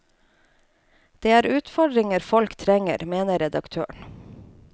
Det er utfordringer folk trenger, mener redaktøren.